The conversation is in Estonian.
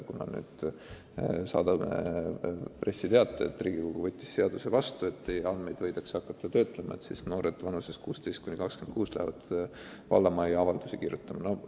Kui ma nüüd saadan välja pressiteate, et Riigikogu võttis vastu seaduse, mille kohaselt noorte inimeste andmeid võidakse hakata töötlema, ka siis noored vanuses 16–26 aastat lähevad vallamajja avaldusi kirjutama?